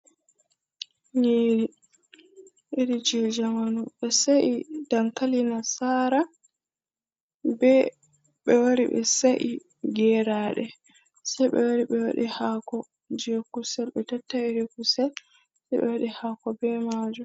Nyiri iri je jamanu, ɓe sa’i dankali nasara ɓe ɓewari ɓe sa’i geraɗe sei ɓewari ɓewaɗi hako je kusel be tatta'i iri kusel sai ɓe waɗi hako be majum.